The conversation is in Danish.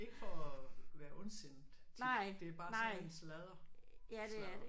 Ikke for at være ondsindet tit det er bare sådan en sladre-sladder